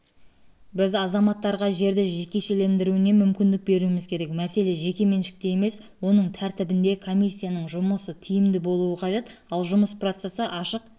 біз азаматтарға жерді жекешелендіруіне мүмкіндік беруіміз керек мәселе жекеменшікте емес оның тәртібінде комиссияның жұмысы тиімді болуы қажет ал жұмыс процесі ашық